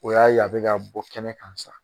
O y'a ye a bɛ ka bɔ kɛnɛ kan sisan